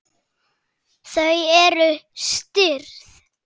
Þau eru stirð.